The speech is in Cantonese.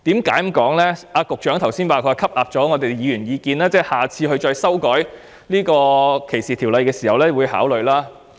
局長剛才表示已吸納議員的意見，在下次再修訂有關條例時會考慮。